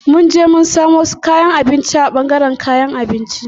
Mun je mun samo kayan abinci a ɓangaren kayan abinci.